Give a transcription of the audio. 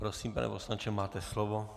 Prosím, pane poslanče, máte slovo.